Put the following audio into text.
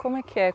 Como é que é?